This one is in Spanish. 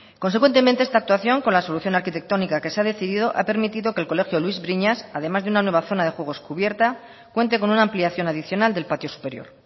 consecuentemente esta actuación con la solución arquitectónica que se ha decidido ha permitido que el colegio luis briñas además de una nueva zona de juegos cubierta cuente con una ampliación adicional del patio superior